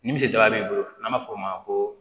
Ni misaaba b'i bolo n'an b'a fɔ o ma ko